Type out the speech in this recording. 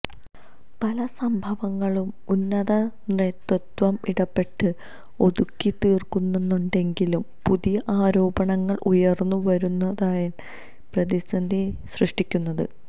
പല സംഭവങ്ങളും ഉന്നത നേതൃത്വം ഇടപെട്ട് ഒതുക്കി തീര്ക്കുന്നുണ്ടെങ്കിലും പുതിയ ആരോപണങ്ങള് ഉയര്ന്നു വരുന്നതാണ് പ്രതിസന്ധി സൃഷ്ടിക്കുന്നത്